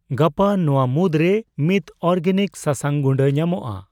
ᱜᱟᱯᱟ ᱱᱚᱣᱟ ᱢᱩᱫᱨᱮ ᱢᱤᱛ ᱚᱨᱜᱟᱱᱤᱠ ᱥᱟᱥᱟᱝ ᱜᱩᱰᱟᱹ ᱧᱟᱢᱚᱜᱼᱟ ?